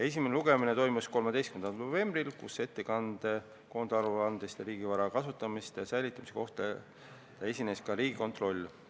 Esimene lugemine toimus 13. novembril, kui ettekandega koondaruande kohta ning riigivara kasutamise ja säilitamise kohta esines ka Riigikontroll.